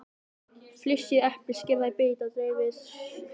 Flysjið eplið, skerið það í bita og dreifið í mótið.